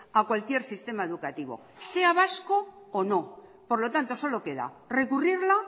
a cualquier sistema educativo sea vasco o no por lo tanto solo queda recurrirla